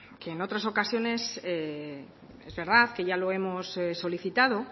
que en otras ocasiones es verdad que ya lo hemos solicitado